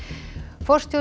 forstjóri